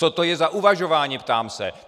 Co to je za uvažování, ptám se!